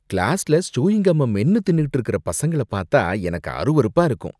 கிளாஸ்ல சூயிங்கம்ம மென்னு தின்னுட்டு இருக்குற பசங்கள பாத்தா எனக்கு அருவருப்பா இருக்கும்.